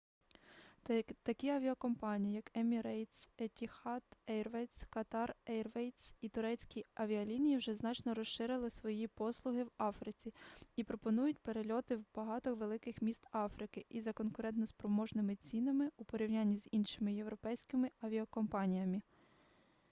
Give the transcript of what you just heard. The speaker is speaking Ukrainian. такі авіакомпанії як емірейтс етіхад ейрвейз катар ейрвейз і турецькі авіалінії вже значно розширили свої послуги в африці і пропонують перельоти в багато великих міст африки за конкурентоспроможними цінами у порівнянні з іншими європейськими авіакомпаніями